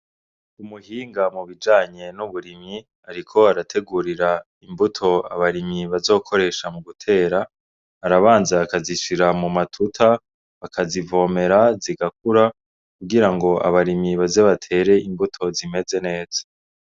Umuhinga mubijanye n'uburimyi ariko arategurira imbuto abarimyi bazokoresha mugutera, arabanza akazishira mu matuta, akazivomera, zigakura, kugira ngo abarimyi baze bater'imbuto zimeze neza.